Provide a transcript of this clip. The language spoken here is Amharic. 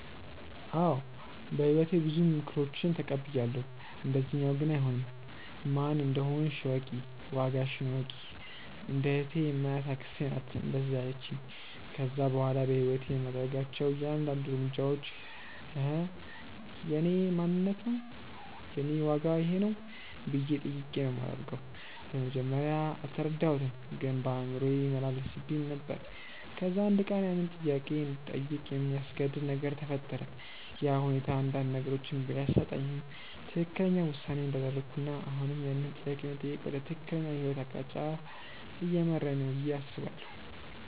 አዎ በህይወቴ ብዙ ምክሮችን ተቀብያለው፣ እንደዚኛው ግን አይሆንም። "ማን እንደሆንሽ እወቂ፣ ዋጋሽን እወቂ"። እንደ እህቴ የማያት አክስቴ ናት እንደዛ ያለቺኝ። ከዛ በኋላ በህይወቴ የማደርጋቸው እያንዳድንዱ እርምጃዎች" እኼ የእኔ ማንነት ነው? የኔ ዋጋ ይኼ ነው?" ብዬ ጠይቄ ነው ማደርገው። በመጀመርያ አልተረዳሁትም ግን በአእምሮዬ ይመላለስብኝ ነበር። ከዛ አንድ ቀን ያንን ጥያቄ እንድጠይቅ የሚያስገድድ ነገር ተፈጠረ፤ ያ ሁኔታ አንዳንድ ነገሮችን ቢያሳጣኝም ትክክለኛው ውሳኔ እንዳደረኩና አሁንም ያንን ጥያቄ መጠየቅ ወደ ትክክለኛው የህይወት አቅጣጫ እየመራኝ ነው ብዬ አስባለው።